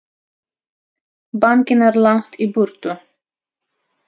Bankinn er langt í burtu.